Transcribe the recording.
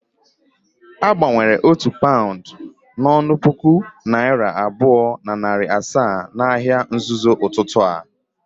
Agbanwere otu paund n'onu puku naira abuo na nari asaa n'ahia nzozo ututu a.